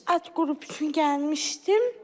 Alt qrup üçün gəlmişdim.